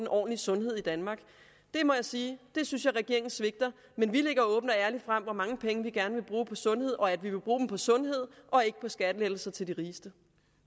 ordentlig sundhed i danmark det må jeg sige at jeg synes regeringen svigter men vi lægger åbent og ærligt frem hvor mange penge vi gerne vil bruge på sundhed og at vi vil bruge dem på sundhed og ikke på skattelettelser til de rigeste